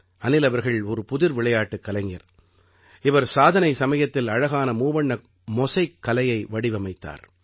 அனில் அவர்கள் ஒரு புதிர் விளையாட்டுக் கலைஞர் இவர் சாதனை சமயத்தில் அழகான மூவண்ண மொசைக் கலையை வடிவமைத்தார்